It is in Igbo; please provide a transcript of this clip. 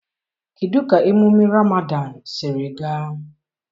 kedụ ka emume Ramadan siri gaa?